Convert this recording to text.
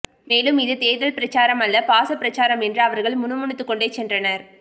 மேலும் இது தேர்தல் பிரச்சாரம் அல்ல பாச பிரச்சாரம் என்று அவர்கள் முணுமுணுத்துக் கொண்டே சென்றனர்